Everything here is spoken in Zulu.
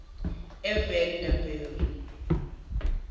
evanderbijl